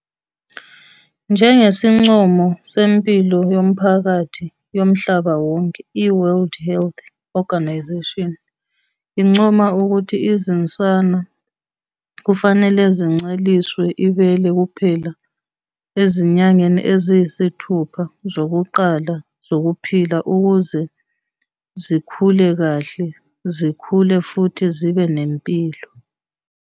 Njengesincomo sempilo yomphakathi yomhlaba wonke, i- World Health Organisation incoma ukuthi izinsana kufanele zinceliswe ibele kuphela ezinyangeni eziyisithupha zokuqala zokuphila ukuze zikhule kahle, zikhule futhi zibe nempilo.